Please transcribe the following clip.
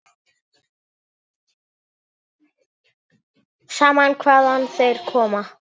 Sama hvaðan þeir koma.